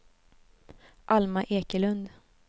Alma Ekelund